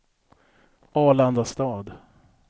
Arlandastad